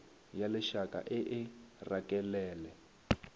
ya lešaka e e rakelele